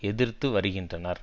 எதிர்த்து வருகின்றனர்